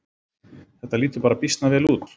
Þetta lítur bara býsna vel út